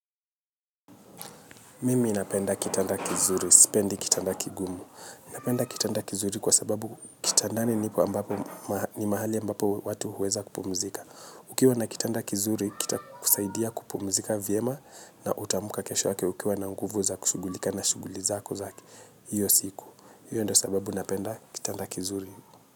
Mimi napenda kitanda kizuri, sipendi kitanda kigumu. Napenda kitanda kizuri kwa sababu kitandani ni mahali ambapo watu huweza kupumzika. Ukiwa na kitanda kizuri kita kusaidia kupumzika vyema na utamka kesho yake ukiwa na nguvu za kushugulika na shuguli zako za hiyo siku. Iyo ndio sababu napenda kitanda kizuri.